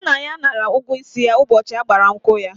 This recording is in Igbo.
Nna ya nara ụgwọ isi ya ụbọchị ịgba nkwụ ya.